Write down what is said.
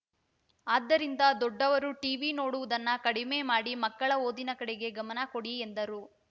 ಆದ್ದರಿಂದ ದೊಡ್ಡವರು ಟಿವಿ ನೋಡುವುದನ್ನು ಕಡಿಮೆ ಮಾಡಿ ಮಕ್ಕಳ ಓದಿನ ಕಡೆಗೆ ಗಮನ ಕೊಡಿ ಎಂದರು